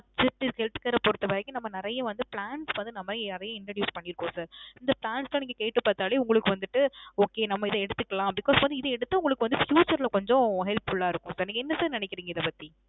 Health care பொறுத்த வரைக்கும் நம்ம நெறைய வந்து plans வந்து நம்ம நிறைய introduce பன்னீருக்கோம் sir. இந்த plans லாம் நீங்க கேட்டு பாத்தாலே உங்களுக்கு வந்திட்டு okay நம்ம இது எடுத்துக்கலாம், because வந்து இத எடுத்து உங்களுக்கு வந்து future ல கொஞ்சம் helpful லா இருக்கும் sir. நீங்க என்ன sir நினைக்கிறீங்க இதை பத்தி